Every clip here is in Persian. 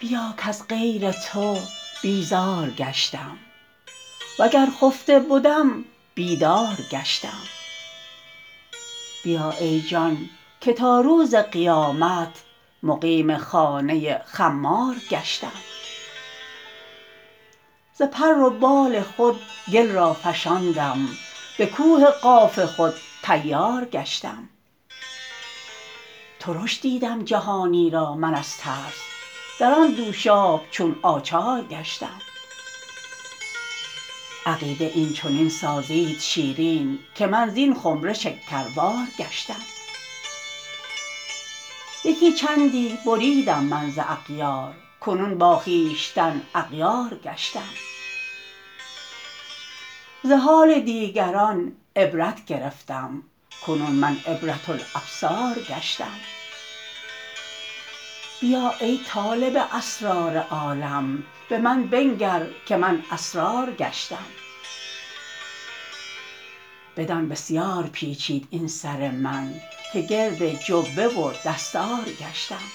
بیا کز غیر تو بیزار گشتم وگر خفته بدم بیدار گشتم بیا ای جان که تا روز قیامت مقیم خانه خمار گشتم ز پر و بال خود گل را فشاند به کوه قاف خود طیار گشتم ترش دیدم جهانی را من از ترس در آن دوشاب چون آچار گشتم عقیده این چنین سازید شیرین که من زین خمره شکربار گشتم یکی چندی بریدم من از اغیار کنون با خویشتن اغیار گشتم ز حال دیگران عبرت گرفتم کنون من عبره الابصار گشتم بیا ای طالب اسرار عالم به من بنگر که من اسرار گشتم بدان بسیار پیچید این سر من که گرد جبه و دستار گشتم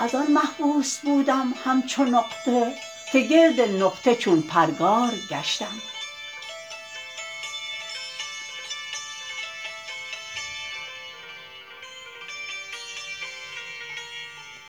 از آن محبوس بودم همچو نقطه که گرد نقطه چون پرگار گشتم